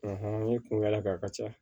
n ye kungo kɛla k'a ka ca